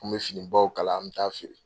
An bɛ fini baw kala an bɛ taa feere.